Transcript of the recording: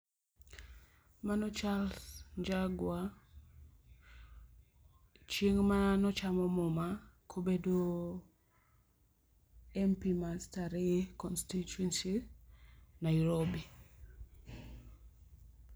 Mano Charles Njagua ,chieng mano chamo muma kobedo MP ma Starehe Constituency Nairobi